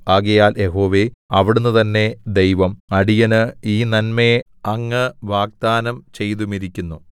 ആകയാൽ യഹോവേ അവിടുന്ന് തന്നെ ദൈവം അടിയന് ഈ നന്മയെ അങ്ങ് വാഗ്ദാനം ചെയ്തുമിരിക്കുന്നു